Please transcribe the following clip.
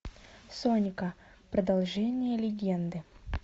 сонька продолжение легенды